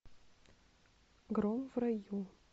гром в раю